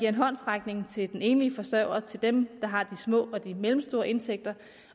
en håndsrækning til den enlige forsørger og til dem der har de små og de mellemstore indtægter